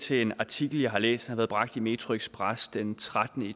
til en artikel jeg har læst som har været bragt i metroxpress den trettende